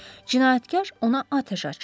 Cinayətkar ona atəş açır.